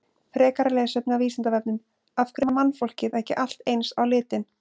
Frekara lesefni á Vísindavefnum: Af hverju er mannfólkið ekki allt eins á litinn?